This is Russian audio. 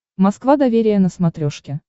москва доверие на смотрешке